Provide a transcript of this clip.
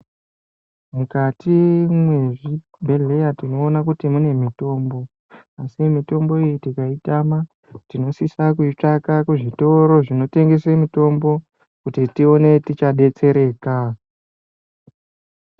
Mukati mwezvibhedhleya tinoona kuti mune mitombo, asi mitombo iyi tikayitama tinosisa kuyitsvaka kuzvitoro zvinotengese mitombo kuti tiwone tichadetsereka.